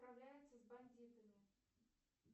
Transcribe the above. справляется с бандитами